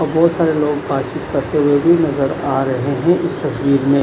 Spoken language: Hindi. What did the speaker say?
और बहुत सारे लोग बातचीत करते हुए भी नजर आ रहे हैं इस तस्वीर में--